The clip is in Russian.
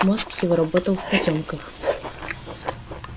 мозг его работал в потёмках